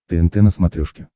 тнт на смотрешке